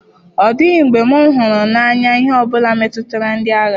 Ọ dịghị mgbe m hụrụ n'anya ihe ọ bụla metụtara ndị agha.